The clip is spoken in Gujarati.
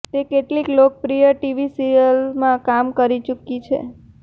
તે કેટલીક લોકપ્રિય ટીવી સિરિયલમાં કામ કરી ચુકી છે